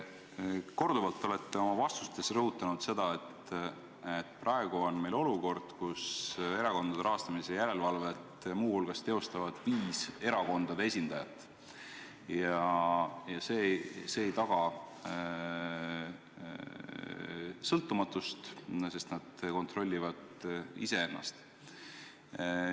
Te olete korduvalt oma vastustes rõhutanud seda, et praegu on meil olukord, kus erakondade rahastamise järelevalvet muu hulgas teostavad viis erakondade esindajat ja see ei taga sõltumatust, sest nad kontrollivad iseennast.